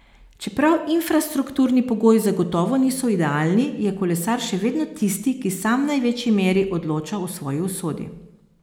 Čeprav infrastrukturni pogoji zagotovo niso idealni, je kolesar še vedno tisti, ki sam v največji meri odloča o svoji usodi.